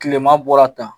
Kileman bɔra tan